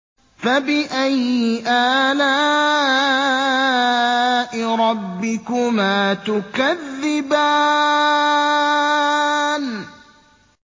فَبِأَيِّ آلَاءِ رَبِّكُمَا تُكَذِّبَانِ